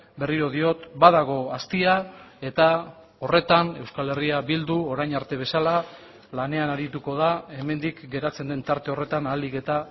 berriro diot badago astia eta horretan euskal herria bildu orain arte bezala lanean arituko da hemendik geratzen den tarte horretan ahalik eta